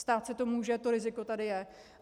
Stát se to může, to riziko tady je.